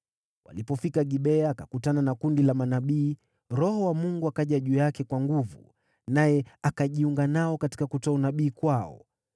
Walipofika Gibea, akakutana na kundi la manabii. Roho wa Mungu akaja juu yake kwa nguvu, naye akajiunga nao katika kutoa unabii kwao.